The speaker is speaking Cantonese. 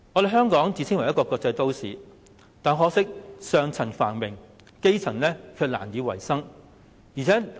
香港自稱為國際都市，但可惜只是上層繁榮，基層卻難以維生。